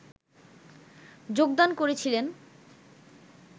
যোগদান করেছিলেন